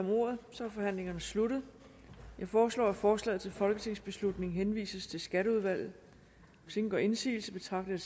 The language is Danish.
om ordet er forhandlingen sluttet jeg foreslår at forslaget til folketingsbeslutning henvises til skatteudvalget hvis ingen gør indsigelse betragter